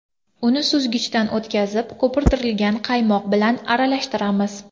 Uni suzgichdan o‘tkizib, ko‘pirtirilgan qaymoq bilan aralashtiramiz.